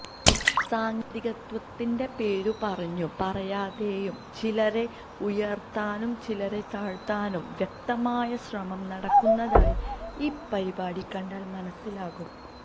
സാങ്കേതികത്വത്തിന്റെ പേരു പറഞ്ഞും പറയാതെയും ചിലരെ ഉയർത്താനും ചിലരെ താഴ്ത്താനും വ്യക്തമായ ശ്രമം നടക്കുന്നതായി ഈ പരിപാടി കണ്ടാൽ മനസ്സിലാകും